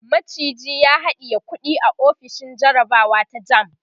maciji ya haɗiye kuɗi a ofishin jarabawa ta JAMB